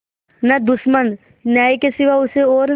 न दुश्मन न्याय के सिवा उसे और